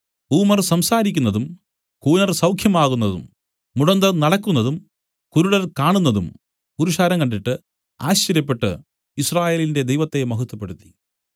humour സംസാരിക്കുന്നതും കൂനർ സൌഖ്യമാകുന്നതും മുടന്തർ നടക്കുന്നതും കുരുടർ കാണുന്നതും പുരുഷാരം കണ്ടിട്ട് ആശ്ചര്യപ്പെട്ടു യിസ്രായേലിന്റെ ദൈവത്തെ മഹത്വപ്പെടുത്തി